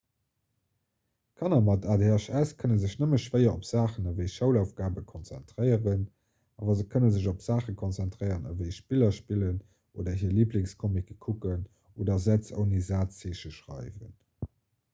kanner mat adhs kënne sech nëmme schwéier op saachen ewéi schoulaufgabe konzentréieren awer se kënne sech op saache konzentréieren ewéi spiller spillen oder hir liiblingscomicken kucken oder sätz ouni sazzeeche schreiwen